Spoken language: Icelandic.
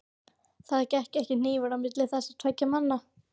Það gekk ekki hnífurinn á milli þessara tveggja manna.